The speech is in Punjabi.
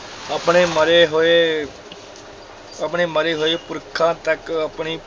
ਆਪਣੇ ਮਰੇ ਹੋਏ ਆਪਣੇ ਮਰੇ ਹੋਏ ਪੁਰਖਾਂ ਤੱਕ ਆਪਣੀ,